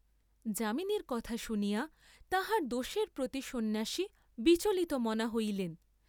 যামিনীর কথা শুনিয়া তাহার দোষের প্রতি সন্ন্যাসী বিচলিতমনা হইলেন!